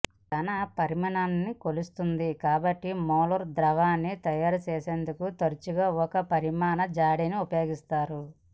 ఘన పరిమాణాన్ని కొలుస్తుంది కాబట్టి మోలార్ ద్రావణాన్ని తయారు చేసేందుకు తరచుగా ఒక పరిమాణ జాడీని ఉపయోగిస్తారు